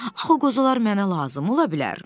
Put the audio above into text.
Axı o qozalar mənə lazım ola bilər.